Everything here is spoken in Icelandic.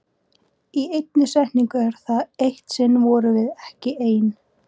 Í einni setningu er það: Eitt sinn vorum við ekki ein.